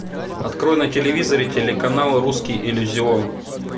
открой на телевизоре телеканал русский иллюзион